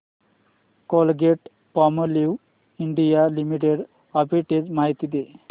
Colgate Palmolive India limited arbitrage माहिती दे